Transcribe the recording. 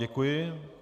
Děkuji.